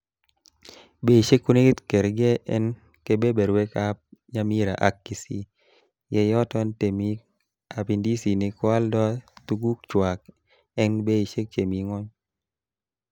Beishek konekit kergee en kebeberwek ab Nyamira ak kisii, ye yoton temik ab indisinik koaldo tugukchwak en beishek chemi ngwony.